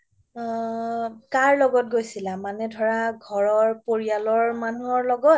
আ কাৰ লগত গৈছিলা মানে ধৰা ঘৰৰ পৰিয়ালৰ মানুহৰ লগ্ত